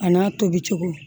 A n'a tobi cogo